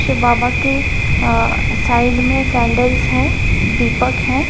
बाबा के साइड मे अ कैडल्स है दीपक है।